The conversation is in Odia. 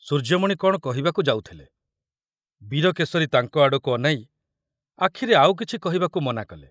ସୂର୍ଯ୍ୟମଣି କଣ କହିବାକୁ ଯାଉଥିଲେ, ବୀରକେଶରୀ ତାଙ୍କ ଆଡ଼କୁ ଅନାଇ ଆଖିରେ ଆଉ କିଛି କହିବାକୁ ମନା କଲେ।